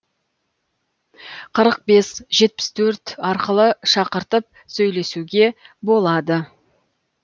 қырық бес жетпіс төрт арқылы шақыртып сөйлесуге болады